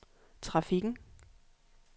trafikken